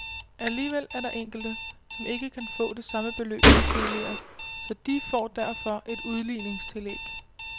Alligevel er der enkelte, som ikke kan få det samme beløb som tidligere, så de får derfor et udligningstillæg.